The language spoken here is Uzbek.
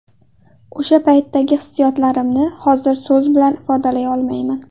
O‘sha paytdagi hissiyotlarimni hozir so‘z bilan ifodalay olmayman.